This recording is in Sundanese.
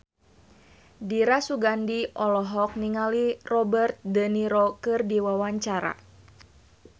Dira Sugandi olohok ningali Robert de Niro keur diwawancara